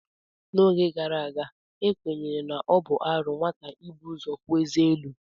N'oge gara aga, ekwenyere na ọ bụ arụ nwata ibu ụzọ puo eze elu.